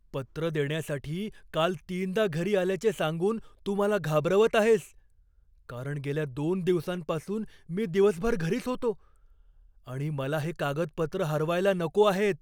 पत्र देण्यासाठी काल तीनदा घरी आल्याचे सांगून तू मला घाबरवत आहेस, कारण गेल्या दोन दिवसांपासून मी दिवसभर घरीच होतो आणि मला हे कागदपत्र हरवायला नको आहेत.